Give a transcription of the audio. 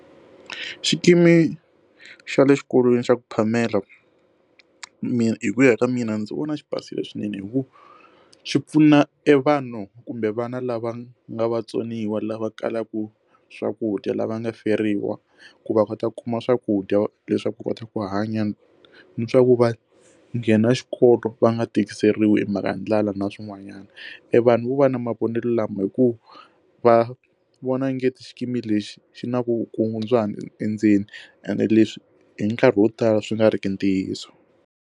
Xikimi xa le xikolweni xa ku phamela mina hi ku ya ka mina ndzi vona xi basile swinene hi ku xi pfuna evanhu kumbe vana lava nga vatsoniwa lava kalaka swakudya lava nga feriwa ku va kota ku kuma swakudya leswaku u kota ku hanya ni swa ku va nghena xikolo va nga tikiseriwe hi mhaka ndlala na swin'wanyana evanhu vo va na mavonelo lama hikuva va vona nge ti xikimi lexi xi na vukungundzwana endzeni ene leswi hi nkarhi wo tala swi nga riki ntiyiso.